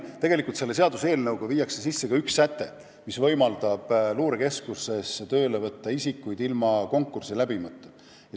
Tegelikult on selles seaduseelnõus üks säte, mis võimaldab luurekeskusesse inimesi tööle võtta ilma konkurssi läbimata.